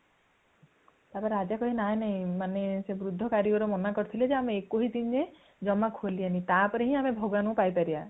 ତା ପରେ ରାଜା କହିବେ ନାଇଁ ନାଇଁ ମାନେ ସେ ବୃଦ୍ଧ କାରିଗର ମନା କରିଥିଲେ ଜେ ଆମେ ଏକୋଇଶ ଦିନ ଯାଏ ଜମା ଖୋଲିବାନୀ | ତାପରେ ହିଁ ଆମେ ଭଗବାନଙ୍କୁ ପାଇଁ ପାରିବା